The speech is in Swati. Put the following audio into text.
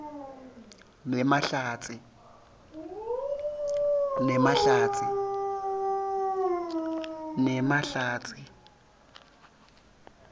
nemahlatsi